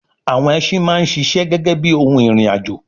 àwọn ẹsin máa ń sisẹ́ gẹ́gẹ́ bíi ohun ìrìn àjò